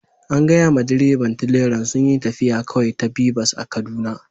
An gaya ma direban tileran sunyi taffiya kawai ta bipas a'Kaduna.